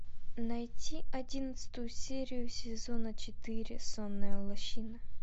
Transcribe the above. найти одиннадцатую серию сезона четыре сонная лощина